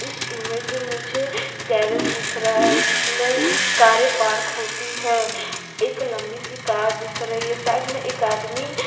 इस इमेज में मुझे गैरेज दिख रहा है जिसमें कारें पार्क होती है एक लंबी सी कार दिख रही है साइड में एक आदमी